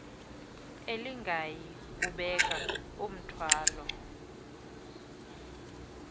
elingayi kubeka mthwalo